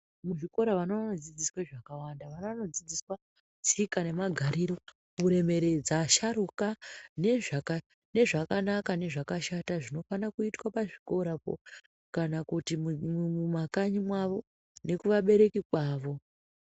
Muzvikora vana vanodzidziswe zvakawanda. Vana vanodzidziswa tsika nemagariro, kuremeredza asharuka, nezvakanaka nezvakashata zvinofana kuitwa pazvikorapo kana kuti mumakanyi mwavo, nekuvabereki kwavo.